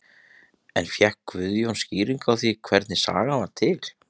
En fékk Guðjón skýringar á því hvernig sagan varð til?